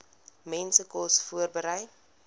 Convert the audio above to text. mense kos voorberei